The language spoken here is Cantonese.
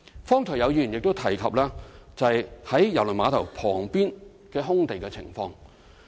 剛才亦有議員提及在啟德郵輪碼頭旁邊空地的情況。